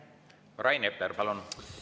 Rain Epler, palun!